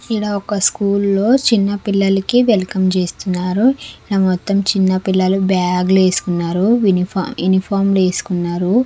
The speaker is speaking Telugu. ఈడా ఒక్క స్కూల్ లో చిన్న పిల్లల కి వెల్కమ్ చేస్తున్నారు ఈడ మొత్తం చిన్న పిల్లలు బ్యాగ్లు వేసుకున్నారు ఉని-- యూనిఫార్మ్ వేసుకున్నారు.